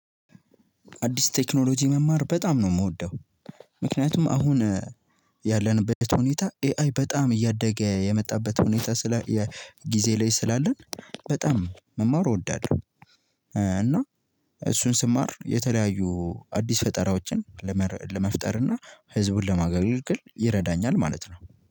አዲስ ቴክኖሎጂ መማር በጣም ነው የምወደው። ምክንያቱም አሁን ያለንበት ሁኔታ ኤአይ በጣም እያደገ የመጣበት ሁኔታ ስለ ጊዜ ላይ ስላለን በጣም መማሩ እወዳለሁ። እና እሱን ስማር የተለያዩ አዲስ ፈጠራዎችን ለመፍጠር እና ህዝብን ለማገልገል ይረዳኛል። ማለት ነው።